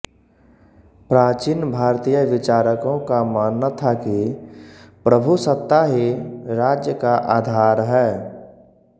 प्राचीन भारतीय विचारकों का मानना था कि प्रभुसत्ता ही राज्य का आधार है